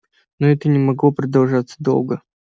но это не могло продолжаться долго